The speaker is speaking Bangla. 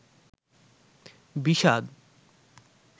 বিষাদ